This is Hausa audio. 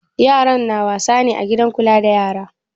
Yaran na wasa ne a gidan kula da yara?